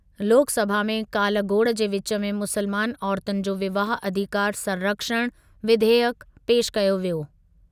लोकसभा में काल्ह गोड़ु जे विच में मुस्लमान औरतुनि जो विवाह अधिकार संरक्षण विधेयक पेशि कयो वियो।।